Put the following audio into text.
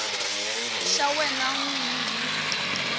xa wena n wini hi